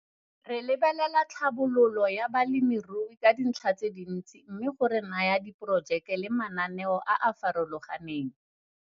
Re lebelela tlhabololo ya balemirui ka dintlha tse dintsi mme go re naya diporojeke le mananeo a a farologaneng.